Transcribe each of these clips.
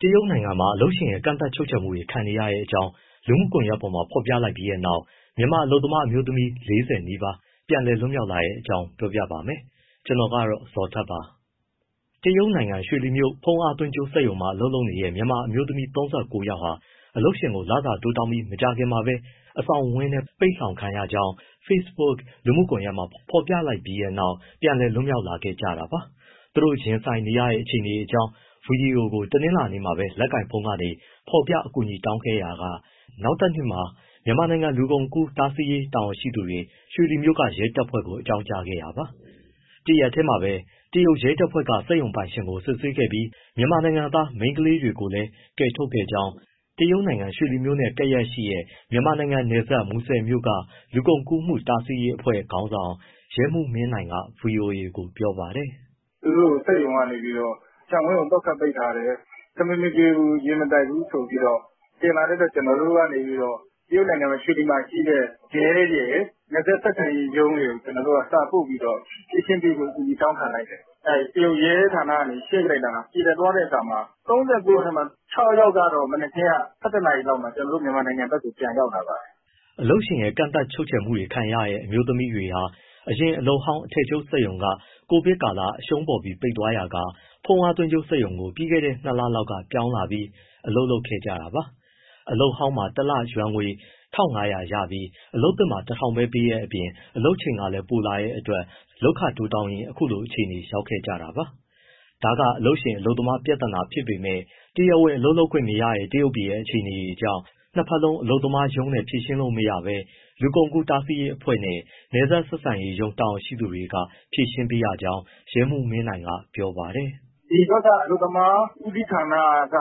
တရုတ်နိုင်ငံမှာ အလုပ်ရှင်ရဲ့ ကန့်သတ်ချုပ်ခြယ်မှုတွေ ခံနေရတဲ့အကြောင်း လူမှုကွန်ရက်ပေါ်မှာ ဖော်ပြလိုက်ပြီးနောက် မြန်မာအလုပ်သမား အမျိုးသမီး ၄၀ နီးပါး ပြန်လည်လွတ်မြောက်လာတဲ့အကြောင်း ပြောပြမှာပါ။ ဗွီအိုအေမြန်မာပိုင်းသတင်းထောက် ကိုဇော်ထက်က သတင်းပေးပို့ထားပါတယ်။ တရုတ်နိုင်ငံ ရွှေလီမြို့က ဖုန်းအားသွင်းကြိုးစက်ရုံမှာ အလုပ်လုပ်နေကြတဲ့ မြန်မာအမျိုးသမီး ၃၉ ယောက်ဟာ အလုပ်ရှင်ကို လစာတိုးတောင်းပြီး မကြာခင်မှာပဲ အဆောင်ဝင်းထဲ ပိတ်လှောင်ခံခဲ့ရကြောင်း Facebook လူမှုကွန်ရက်မှာ ဖော်ပြလိုက်ပြီးနောက် ပြန်လည်လွတ်မြောက်လာခဲ့ကြတာပါ။ သူတို့ရင်ဆိုင်နေရတဲ့ အခြေအနေအကြောင်း ဗီဒီယိုကို တနင်္လာနေ့မှာပဲ လက်ကိုင်ဖုန်းကနေ ဖော်ပြအကူအညီ တောင်းခဲ့ရာက နောက်တနေ့မှာပဲ မြန်မာနိုင်ငံ လူကုန်ကူးမှု တားဆီးရေး တာဝန်ရှိသူတွေ ရွှေလီမြို့က ရဲတပ်ဖွဲ့ကို အကြောင်းကြားခဲ့တာပါ။ တရက်တည်းမှာပဲ တရုတ်ရဲတပ်ဖွဲ့က စက်ရုံပိုင်ရှင်ကို စစ်ဆေးခဲ့ပြီး မြန်မာနိုင်ငံသား မိန်းကလေးတွေကိုလည်း ကယ်ထုတ်ခဲ့ကြောင်း တရုတ်နိုင်ငံ ရွှေလီမြို့နဲ့ ကပ်လျက်ရှိနေတဲ့ မြန်မာနိုင်ငံနယ်စပ် မူဆယ်မြို့က လူကုန်ကူးမှုတားဆီးရေးအဖွဲ့ခေါင်းဆောင် ရဲမှူးမင်းနိုင်က ဗွီအိုအေကို ပြောပါတယ်။ “သူတို့ကို စက်ရုံကနေ ခြံဝန်းကို သော့ခတ်ပိတ်ထားတယ်၊ ထမင်း မကျွေးဘူး ရေမတိုက်ဘူးဆိုပြီးတော့ တင်လာတဲ့အတွက် ကျနော်တို့ကနေ တရုတ်ရွှေလီမှာရှိတဲ့ ရဲရယ်၊ နယ်စပ်ဆက်ဆံရေးရုံးရယ်ကို စာပို့ပြီးတော့ ဖြေရှင်းပေးဖို့ အကူအညီ တောင်းခံလိုက်တယ်၊ တရုတ်ရဲဌာနကနေ ရှင်းပေးလိုက်တဲ့အတွက် ပြေလည်သွားတဲ့အခါမှာ ၃၉ ယောက်ထဲမှာ ၆ ယောက်ကတော့ မနက်ခင်းက ၁၁ နာရီလောက်မှာ ကျနော်တို့ မြန်မာ နိုင်ငံဘက်ကို ပြန်ရောက်လာပါတယ်။” အလုပ်ရှင်ရဲ့ ကန့်သတ်ချုပ်ခြယ်မှုတွေ ခံခဲ့ရတဲ့ အမျိုးသမီးတွေဟာ အရင်အလုပ်ဟောင်း အထည်ချုပ်စက်ရုံက ကိုဗစ်ကာလ အရှုံးပေါ်ပြီး ပိတ်သွားရာက ဖုန်းအားသွင်းကြိုးစက်ရုံကို ပြီးခဲ့တဲ့ ၂ လလောက်က ပြောင်းလာပြီး အလုပ်လုပ်ခဲ့တာပါ။ အလုပ်ဟောင်းမှာ တလ ယွမ်ငွေ ၁,၅၀၀ ပြီး အလုပ်သစ်က ၁,၀၀၀ ပဲပေးတဲ့အပြင် အလုပ်ချိန်ကလည် ပိုလာတဲ့အတွက် လုပ်ခတိုးတောင်းရင်း အခုလိုအခြေအနေ ရောက်ခဲ့ ကြတာပါ။ ဒါကအလုပ်ရှင် အလုပ်သမား ပြဿနာဖြစ်ပေမဲ့ တရားဝင်အလုပ်လုပ်ခွင့်မရတဲ့ တရုတ်ပြည်ရဲ့ အခြေအနေကြောင့် နှစ်ဘက် အလုပ်သမားရုံးနဲ့ ဖြေရှင်းလို့မရဘဲ လူကုန်ကူးတားဆီးရေးအဖွဲ့နဲ့ နယ်စပ်ဆက်ဆံရေးရုံး တာဝန်ရှိသူတွေက ဖြေရှင်းပေးရကြောင်း ရဲမှူးမင်းနိုင်က ပြောပါတယ်။ “ဒီဘက်က အလုပ်သမား ဦးစီးဌာနက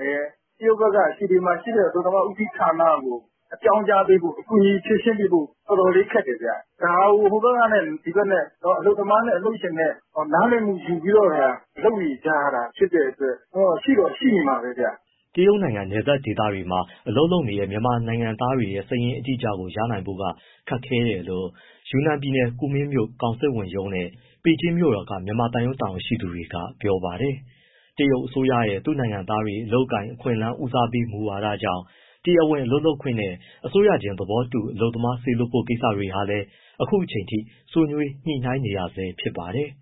လည်း တရုတ်ဘက်က ရွှေလီမှာရှိတဲ့ အလုပ်သမားဦးစီးဌာနကို အကြောင်းကြားပေးဖို့၊ ကူညီဖြေရှင်းပေးဖို့ တော်တော်လေး ခက်တယ်ဗျ။ ဒါကို ဟိုဘက်နဲ့ ဒီဘက် အလုပ်သမားနဲ့ အလုပ်ရှင်နဲ့ နားလည်မှု ယူပြီးတော့သာ လုပ်နေကြရတာ ဖြစ်တဲ့အတွက် ဒါကတော့ ရှိတော့ ရှိနေမှာပဲဗျ။” တရုတ်နိုင်ငံနယ်စပ်ဒေသတွေမှာ အလုပ်လုပ်နေတဲ့ မြန်မာအလုပ်သမားတွေရဲ့ စာရင်းအတိအကျကို ရနိုင်ဖို့ကတော့ ခက်ခဲတယ်လို့ ယူနန်ပြည်နယ် ကူမင်းမြို့က ကောင်စစ်ဝန်ရုံးနဲ့ ပေကျင်းမြို့တော်က မြန်မာသံရုံး တာဝန်ရှိသူတွေက ပြောပါတယ်။ တရုတ်အစိုးရရဲ့ သူ့နိုင်ငံသားတွေ အလုပ်အကိုင် အခွင့်အလမ်း ဦးစားပေး မူဝါဒကြောင့် တရားဝင်အလုပ်လုပ်ခွင့်နဲ့ အစိုးရချင်း သဘောတူ အလုပ်သမား စေလွှတ်ဖို့ ကိစ္စတွေဟာလည်း အခုအချိန်အထိ ဆွေးနွေးညှိနှိုင်းနေရဆဲ ဖြစ်ပါတယ်။